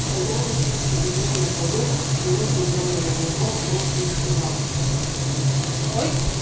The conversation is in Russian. хозяин сел перед ним на полу минуту глядя на него молча и сказал